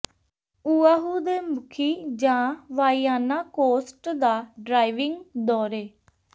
Oahu ਦੇ ਮੁਖੀ ਜਾਂ ਵਾਈਆਨਾ ਕੋਸਟ ਦਾ ਡ੍ਰਾਈਵਿੰਗ ਦੌਰੇ